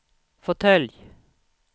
fåtölj